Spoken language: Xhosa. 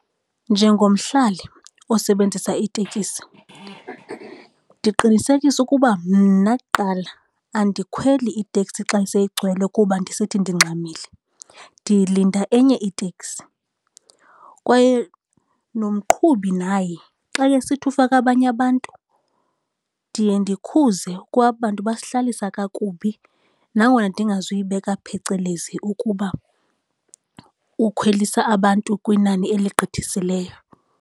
Njengomhlali osebenzisa iitekisi ndiqinisekisa ukuba mna kuqala andikhweli iteksi xa seyigcwele, kuba ndisithi ndingxamile. Ndilinda enye iteksi kwaye nomqhubi naye xa esithi ufaka abanye abantu ndiye ndikhuze kwa aba bantu basihlalisa kakubi nangona ndingazuyibeka phecelezi ukuba ukhwelise abantu kwinani eligqithisileyo.